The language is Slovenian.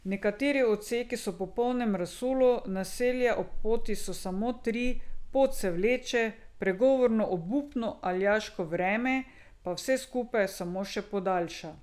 Nekateri odseki so v popolnem razsulu, naselja ob poti so samo tri, pot se vleče, pregovorno obupno aljaško vreme pa vse skupaj samo še podaljša.